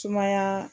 Sumaya